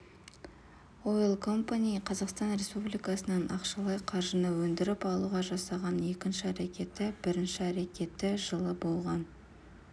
ойл компани қазақстан республикасынан ақшалай қаржыны өндіріп алуға жасаған екінші әрекеті бірінші әрекеті жылы болған